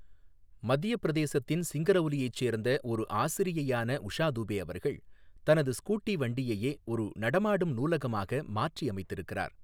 மத்திய பிரதேசத்தின் சிங்கரௌலியைச் சேர்ந்த ஒரு ஆசிரியையான உஷா துபே அவர்கள், தனது ஸ்கூட்டி வண்டியையே ஒரு நடமாடும் நூலகமாக மாற்றியமைத்திருக்கிறார்.